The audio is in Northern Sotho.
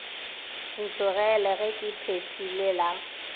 ntlogele ge ke phethile la